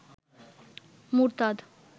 মুরতাদ